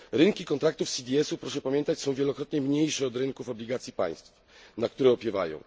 Rynki kontraktów CDS ów są, proszę pamiętać, wielokrotnie mniejsze od rynków obligacji państw, na które opiewają.